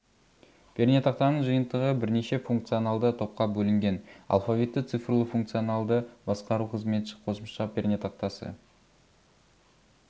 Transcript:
пернетақтаның жиынтығы бірнеше функционалды топқа бөлінген алфавитті-цифрлы функционалды басқару қызметші қосымша пернетақтасы